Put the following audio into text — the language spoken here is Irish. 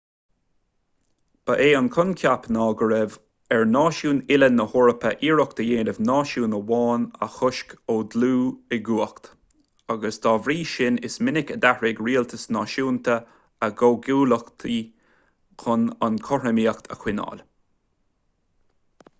ba é an coincheap ná go raibh ar náisiúin uile na heorpa iarracht a dhéanamh náisiún amháin a chosc ó dhul i gcumhacht agus dá bhrí sin is minic a d'athraigh rialtais náisiúnta a gcomhghuaillíochtaí chun an chothromaíocht a choinneáil